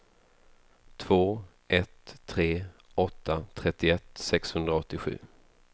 två ett tre åtta trettioett sexhundraåttiosju